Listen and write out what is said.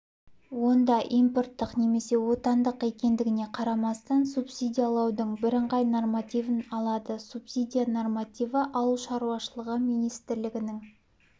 онда импорттық немесе отандық екендігіне қарамастан субсидиялаудың бірыңғай нормативін алады субсидия нормативі ауыл шаруашылығы министрлігінің